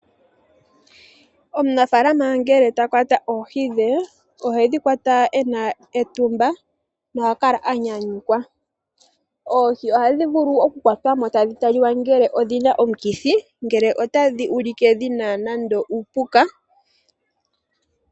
Omunafaalama ngele ta kwata oohi dhe ohedhi kwata ena etumba noha kala anyanyukwa . Oohi ohadhi vulu oku kwatwamo tadhi taliwa ngele odhina omukithi, ngele otadhi ulike dhina nando uupuka